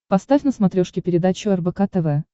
поставь на смотрешке передачу рбк тв